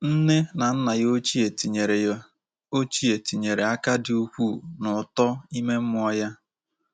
Nne na nna ya ochie tinyere ya ochie tinyere aka dị ukwuu n’uto ime mmụọ ya.